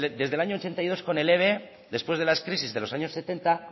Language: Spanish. desde el año ochenta y dos con el eve después de las crisis de los años setenta